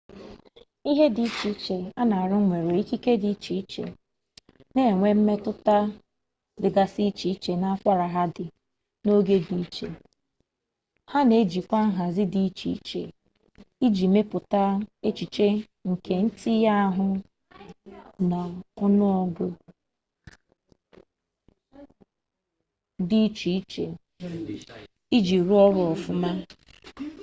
ihe dị iche iche a na-arụ nwere ikike dị iche iche na-enwe mmetụta dịgasị iche iche na akwara ha di na ogo di iche ha na-ejikwa nhazi dị iche iche iji mepụta echiche nke ntinye ahụ na ọnụọgụ dị iche iche iji rụọ ọrụ ọfụma